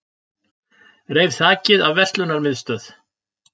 Reif þakið af verslunarmiðstöð